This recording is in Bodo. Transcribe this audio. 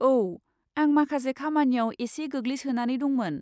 औ! आं माखासे खामानियाव एसे गोग्लैसोनानै दंमोन।